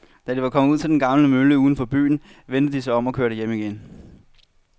Da de var kommet ud til den gamle mølle uden for byen, vendte de om og kørte hjem igen.